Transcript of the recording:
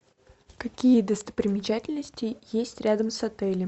какие достопримечательности есть рядом с отелем